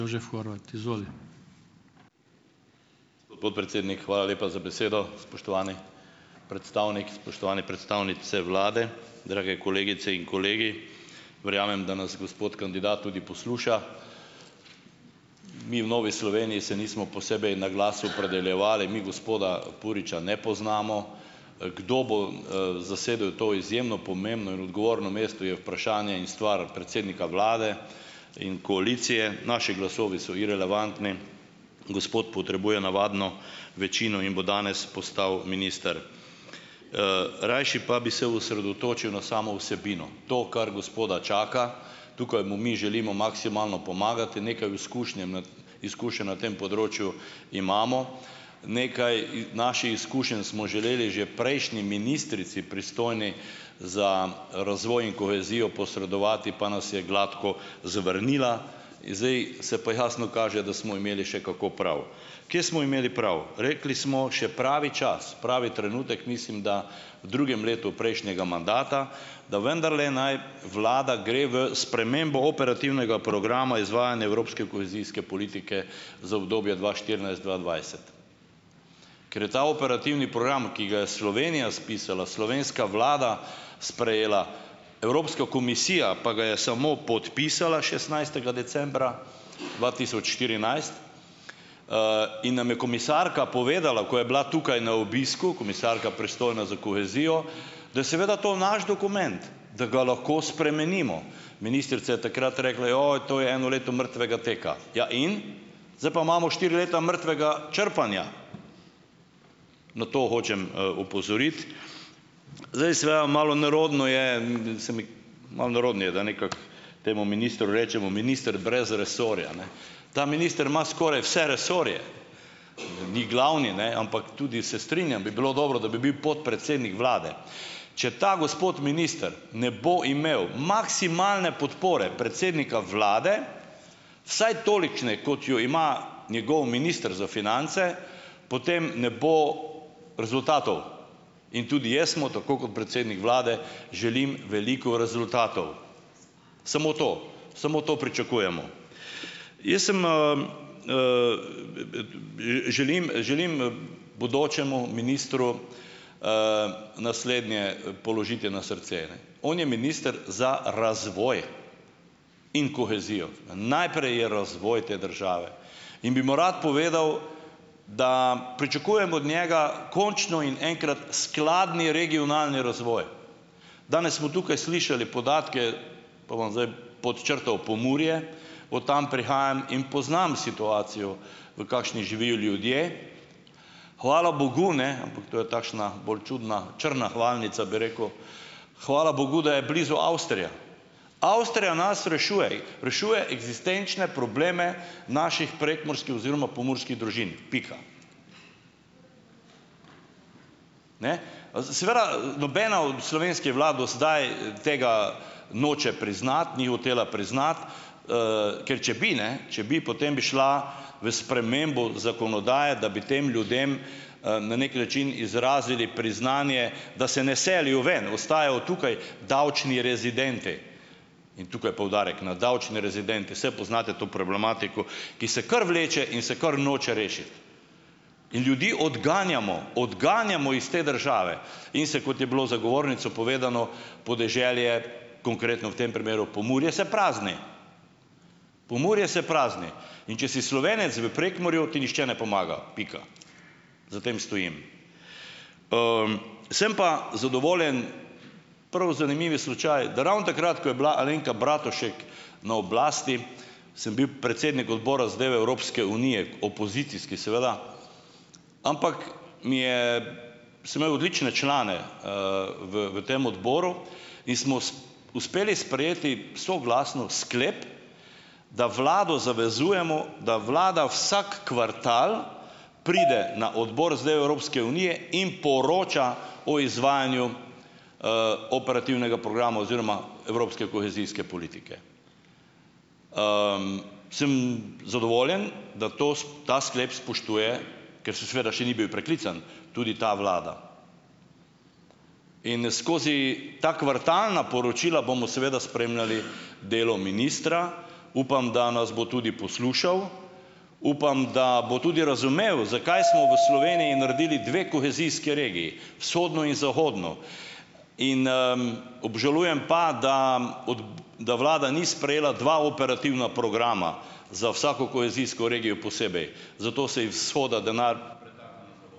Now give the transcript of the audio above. Gospod podpredsednik, hvala lepa za besedo. Spoštovani predstavnik, spoštovane predstavnice vlade, drage kolegice in kolegi! Verjamem, da nas gospod kandidat tudi posluša. Mi v Novi Sloveniji se nismo posebej na glas opredeljevali, mi gospoda Puriča ne poznamo. Kdo bo, zasedel to izjemno pomembno in odgovorno mesto, je vprašanje in stvar predsednika vlade in koalicije, naši glasovi so irelevantni, gospod potrebuje navadno večino in bo danes postavi minister. Rajši pa bi se osredotočil na samo vsebino. To, kar gospoda čaka, tukaj mu mi želimo maksimalno pomagati, nekaj uskušnjem na, izkušenj na tem področju imamo, nekaj naših izkušenj smo želeli že prejšnji ministrici, pristojni za, razvoj in kohezijo, posredovati, pa nas je gladko zavrnila, in zdaj se pa jasno kaže, da smo imeli še kako prav. Kje smo imeli prav? Rekli smo, še pravi čas, pravi trenutek, mislim da v drugem letu prejšnjega mandata, da vendarle naj vlada gre v spremembo operativnega programa izvajanje evropske kohezijske politike za obdobje dva štirinajst-dva dvajset. Ker je ta operativni program, ki ga je Slovenija spisala, slovenska vlada sprejela, evropska komisija pa ga je samo podpisala šestnajstega decembra dva tisoč štirinajst, in nam je komisarka povedala, ko je bila tukaj na obisku, komisarka, pristojna za kohezijo, da seveda to naš dokument, da ga lahko spremenimo. Ministrica je takrat rekla: "Joj, to je eno leto mrtvega tukaj." Ja in? Zdaj pa imamo štiri leta mrtvega črpanja. Na to hočem, opozoriti. Zdaj seveda malo nerodno je, se mi, malo nerodno je, da nekako temu ministru rečemo minister brez resorja, ne ... Ta minister ima skoraj vse resorje. Ni glavni, ne, ampak tudi se strinjam, bi bilo dobro, da bi bil podpredsednik vlade. Če ta gospod minister ne bo imel maksimalne podpore predsednika vlade, vsaj tolikšne, kot jo ima njegov minister za finance, potem ne bo rezultatov. In tudi jaz mu tako ko predsednik vlade želim veliko rezultatov, samo to, samo to pričakujemo. Jaz sem, b, b da, bi želim, želim, bodočemu ministru, naslednje, položiti na srce, ne. On je minister za razvoj in kohezijo. Najprej je razvoj te države. In bi mu rad povedal, da pričakujem od njega končno in enkrat skladni regionalni razvoj. Danes smo tukaj slišali podatke, pa bom zdaj podčrtal Pomurje, od tam prihajam in poznam situacijo, v kakšni živijo ljudje. Hvala bogu, ne, ampak to je takšna bolj čudna, črna hvalnica, bi rekel, hvala bogu, da je blizu Avstrija. Avstrija nas rešuje, in, rešuje eksistenčne probleme naših prekmurskih oziroma pomurskih družin, pika. Ne? Seveda, nobena od slovenskih vlad do zdaj, tega noče priznati, ni hotela priznati, ker če bi, ne, če bi, potem bi šla v spremembo zakonodaje, da bi tem ljudem, na neki način izrazili priznanje, da se ne selijo ven, ostajajo tukaj davčni rezidenti. In tukaj poudarek na davčni rezidenti. Saj poznate to problematiko, ki se kar vleče in se kar noče rešiti. In ljudi odganjamo, odganjamo iz te države. In se, kot je bilo za govornico povedano, podeželje, konkretno v tem primeru Pomurje, se prazni, Pomurje se prazni. In če si Slovenec v Prekmurju, ti nihče ne pomaga, pika. Za tem stojim. Sem pa zadovoljen, prav zanimivi slučaj, da ravno takrat, ko je bila Alenka Bratušek na oblasti, sem bil predsednik odbora zadeve Evropske unije, opozicijski seveda, ampak mi je, sem imel odlične člane, v, v tem odboru in smo uspeli sprejeti soglasno sklep, da vlado zavezujemo, da vlada vsak kvartal pride na odbor zadeve Evropske unije in poroča o izvajanju, operativnega programa oziroma evropske kohezijske politike. sem zadovoljen, da to, ta sklep spoštuje, ker se seveda še ni bil preklican, tudi ta vlada. In skozi ta kvartalna poročila bomo seveda spremljali delo ministra. Upam, da nas bo tudi poslušal. Upam, da bo tudi razumel, zakaj smo v Sloveniji naredili dve kohezijski regiji, vzhodno in zahodno. In, obžalujem pa, da da vlada ni sprejela dva operativna programa za vsako kohezijsko regijo posebej. Zato se iz vzhoda denar ...